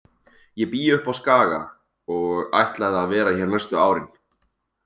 Ég bý uppi á Skaga og ætlaði að vera hér næstu árin.